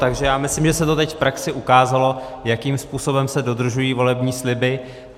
Takže já myslím, že se to teď v praxi ukázalo, jakým způsobem se dodržují volební sliby.